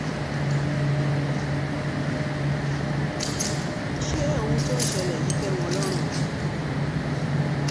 ṣé ohun tó ń ṣẹlẹ̀ yìí tẹ́ wọn lọ́rùn ni